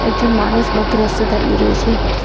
একজন মানুষ মধ্য রাস্তায় দাঁড়িয়ে রয়েছে।